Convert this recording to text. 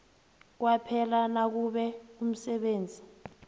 kwaphela nakube umsebenzi